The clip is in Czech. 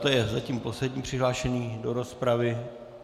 To je zatím poslední přihlášený do rozpravy.